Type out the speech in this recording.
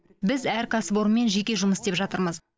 біз әр кәсіпорынмен жеке жұмыс істеп жатырмыз